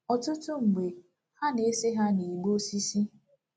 Ọtụtụ mgbe, ha na-ese ha n'ígbé osisi.